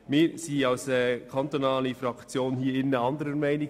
Wir sind als kantonale Fraktion des Grossen Rats anderer Meinung.